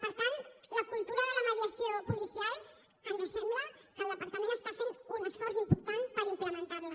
per tant en la cultura de la mediació policial ens sembla que el departament està fent un esforç important per implementarla